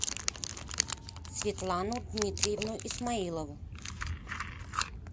светлану дмитриевну исмаилову